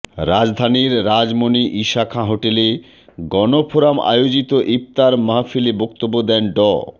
রাজধানীর রাজমনি ঈশা খাঁ হোটেলে গণফোরাম আয়োজিত ইফতার মাহফিলে বক্তব্য দেন ড